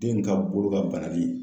Den ka bolo ka banali